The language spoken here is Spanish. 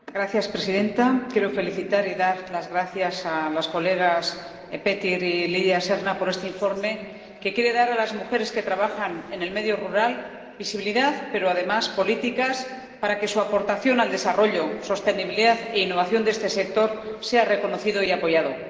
Señora presidenta, quiero felicitar y dar las gracias a las colegas Petir y Lidia Senra por este informe, que quiere dar a las mujeres que trabajan en el medio rural, visibilidad, pero, además, políticas para que su aportación al desarrollo, sostenibilidad e innovación de este sector sea reconocida y apoyada.